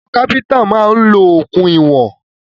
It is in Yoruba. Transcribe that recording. Àwọn kápẹ́ntà máa ń lo okùn ìwọ̀n